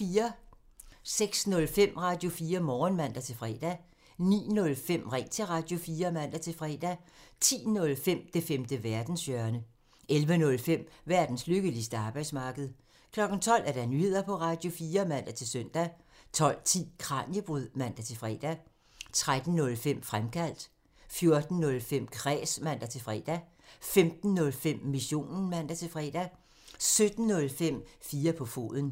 06:05: Radio4 Morgen (man-fre) 09:05: Ring til Radio4 (man-fre) 10:05: Det femte verdenshjørne (man) 11:05: Verdens lykkeligste arbejdsmarked (man) 12:00: Nyheder på Radio4 (man-søn) 12:10: Kraniebrud (man-fre) 13:05: Fremkaldt (man) 14:05: Kræs (man-fre) 15:05: Missionen (man-fre) 17:05: 4 på foden (man)